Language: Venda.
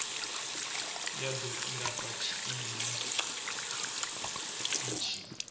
ya do ilafha tshiimo itshi